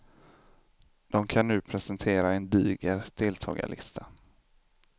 De kan nu presentera en diger deltagarlista.